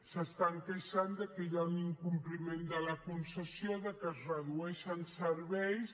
s’estan queixant de que hi ha un incompliment de la concessió de que es redueixen serveis